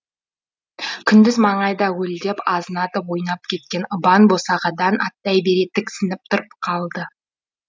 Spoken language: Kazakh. күндіз маңайда уілдеп азынатып ойнап кететін ыбан босағадан аттай бере тіксініп тұрып қалды